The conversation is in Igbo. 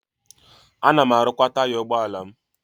Ana m arụkwa taya ụgbọala m.